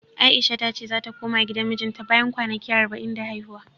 A'isha ta ce zata koma gidan mijinta bayan kwanaki arba'in da haihuwa.